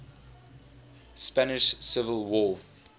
spanish civil war